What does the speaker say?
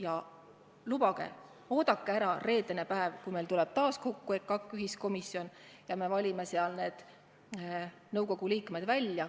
Ja lubage, oodake ära reedene päev, kui meil tuleb taas kokku EKAK-i ühiskomisjon ja me valime seal nõukogu liikmed välja.